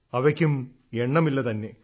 അവയ്ക്കും എണ്ണമില്ലതന്നെ